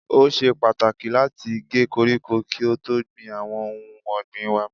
Ó ṣe pàtàkì láti gé koríko kí á tó gbìn àwọn ohun ọ̀gbìn waa.